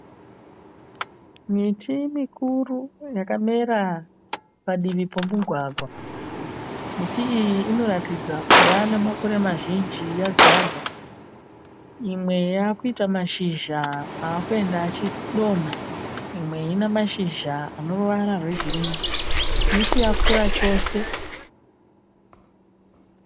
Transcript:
Miti mikuru yakamera padivi pemugwagwa. Miti iyi inoratidza kuva nemakore mazhinji yadzvarwa. Imwe yakuita mashizha akuenda achidonha imwe ine mashizha ane ruvara rwegirinhi. Miti yakura chose.